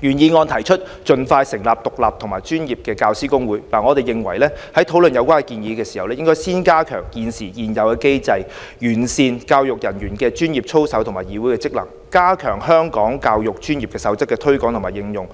原議案提出"盡快成立獨立和專業的教師公會"，我們認為在討論有關建議前，應該先加強現有的機制，完善教育人員專業操守議會的職能，加強《香港教育專業守則》的推廣和應用。